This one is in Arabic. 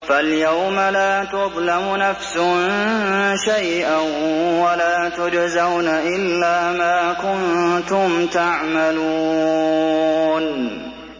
فَالْيَوْمَ لَا تُظْلَمُ نَفْسٌ شَيْئًا وَلَا تُجْزَوْنَ إِلَّا مَا كُنتُمْ تَعْمَلُونَ